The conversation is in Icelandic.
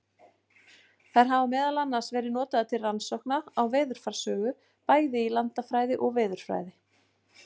Þær hafa meðal annars verið notaðar til rannsókna á veðurfarssögu, bæði í landafræði og veðurfræði.